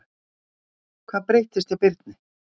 Hvað breyttist hjá Birni?